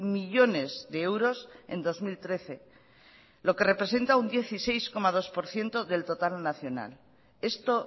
millónes de euros en dos mil trece lo que representa un dieciséis coma dos por ciento del total en nacional esto